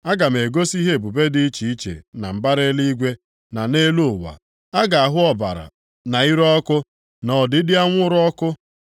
Aga m egosi ihe ebube dị iche iche na mbara eluigwe, na nʼelu ụwa; a ga-ahụ ọbara, na ire ọkụ, na ogidi anwụrụ ọkụ.